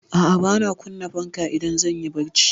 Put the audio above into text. A'a, bana kunna fanka idan zan yi barci.